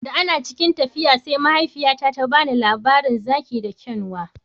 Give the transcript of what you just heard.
Da ana cikin tafiya sai mahaifiyata ta ba mu labarin zaki da kyanwa